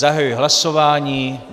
Zahajuji hlasování.